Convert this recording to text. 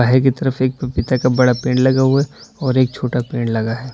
के तरफ एक पपीता का बड़ा पेड़ लगा हुआ है और एक छोटा पेड़ लगा है।